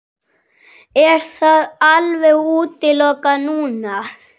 Er það alveg útilokað núna?